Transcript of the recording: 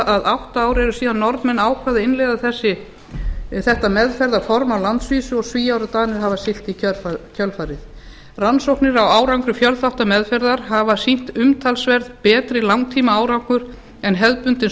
að átta ár eru síðan norðmenn ákváðu að innleiða þetta meðferðarform á landsvísu og svíar og danir hafa siglt í kjölfarið rannsóknir á árangri fjölþáttameðferðar hafa sýnt umtalsvert betri langtímaárangur en hefðbundin